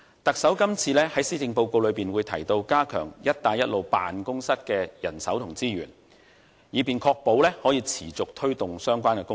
特首這次在施政報告中提到會加強"一帶一路"辦公室的人手和資源，以確保持續推動相關工作。